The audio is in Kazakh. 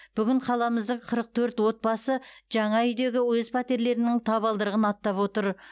бүгін қаламыздың қырық төрт отбасы жаңа үйдегі өз пәтерлерінің табалдырығын аттап отыр